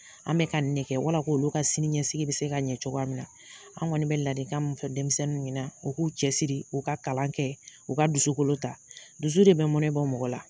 An bɛ ka nin de kɛ wala k'olu ka sini ɲɛsigi bɛ se ka ɲɛ cogoya min na. An kɔni bɛ ladikan min fɔ denmisɛnninw ɲɛna, u k'u cɛ siri, u ka kalan kɛ, u ka dusukolo ta. Dusu de bɛ mɔnɛ bɔ mɔgɔ la.